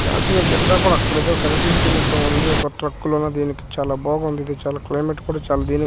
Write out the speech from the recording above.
జాతియా జెండా కూడా అక్కడతో కనిపించినట్లు ఉంది ఒక ట్రక్ లో ధినికి చాలా బాగుంధీ ఇది చాలా క్లిమత్ కూడా చాలా ధీ --